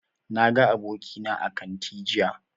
Na ga abokina a kanti jiya